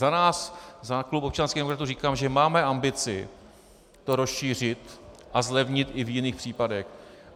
Za nás, za klub občanských demokratů, říkám, že máme ambici to rozšířit a zlevnit i v jiných případech.